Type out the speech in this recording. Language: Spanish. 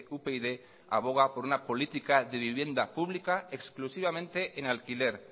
upyd aboga por una política de vivienda pública exclusivamente en alquiler